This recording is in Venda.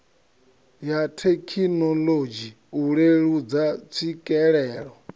ya thekinolodzhi u leludza tswikelelo